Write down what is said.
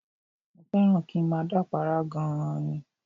Mo fẹ́ràn kí n máa dápàárá gan-an ni